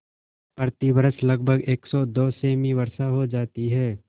प्रतिवर्ष लगभग सेमी वर्षा हो जाती है